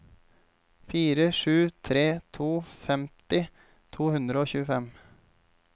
fire sju tre to femti to hundre og tjuefem